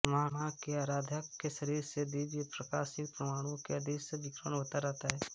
माँ के आराधक के शरीर से दिव्य प्रकाशयुक्त परमाणुओं का अदृश्य विकिरण होता रहता है